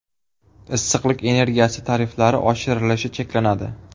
Issiqlik energiyasi tariflari oshirilishi cheklanadi.